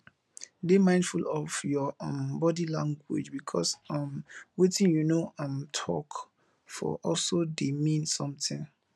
dey mindful of your um body language because um wetin you no um talk for also dey mean something